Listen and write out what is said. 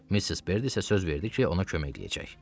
Missis Berd isə söz verdi ki, ona köməklik eləyəcək.